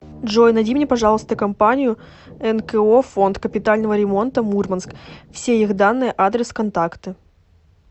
джой найди мне пожалуйста компанию нко фонд капитального ремонта мурманск все их данные адрес контакты